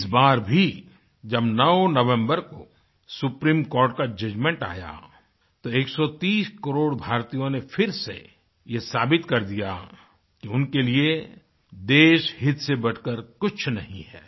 इस बार भी जब 9 नवम्बर को सुप्रीम कोर्ट का जजमेंट आया तो 130 करोड़ भारतीयों नेफिर से ये साबित कर दिया कि उनके लिए देशहित से बढ़कर कुछ नहीं है